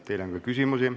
Teile on ka küsimusi.